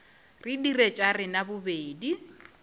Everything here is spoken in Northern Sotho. re dire tša rena bobedi